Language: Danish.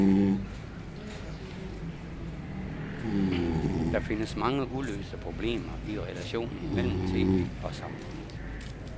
Der findes mange uløste problemer i relationen mellem tv og samfundet.